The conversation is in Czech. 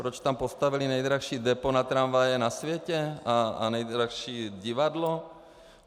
Proč tam postavili nejdražší depo na tramvaje na světě a nejdražší divadlo?